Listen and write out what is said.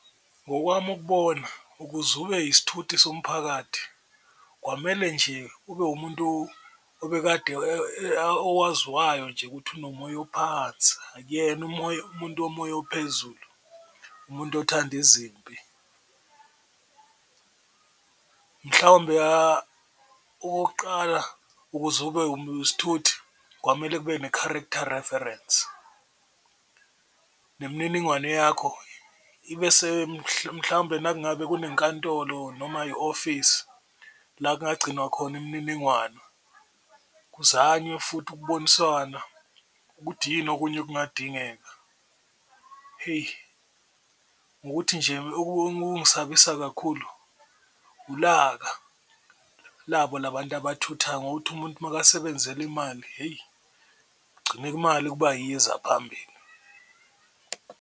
Ngokwami ukubona ukuze ube yisithuthi somphakathi kwamele nje ube umuntu obekade owaziwayo nje ukuthi unomoya ophansi akuyena umuntu womoya ophezulu, umuntu othanda izimpi. Mhlawumbe okokuqala ukuze ube isithuthi kwamele ube ne-character reference, nemininingwane yakho ibe mhlawumpe nangabe kunenkantolo noma i-ofisi la kungagcinwa khona imniningwano, kuzanywe futhi ukuboniswana ukuthi yini okunye okungadingeka. Heyi ngukuthi nje okungisabisa kakhulu ulaka labo la bantu abathuthayo ngokuthi umuntu makasebenzela imali, heyi kugcine imali kuba yiyo eza phambili.